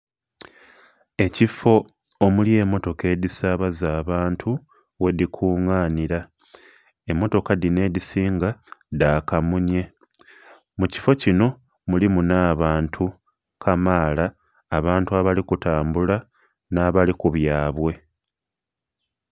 Ekifo omuli emmotoka edhisaabaza abantu ghedhikunganira, emmotoka dhino edhisinga dha kamunye. Mu kifo kino mulimu n'abantu kamaala, abantu abali kutambula n'abali ku byabwe.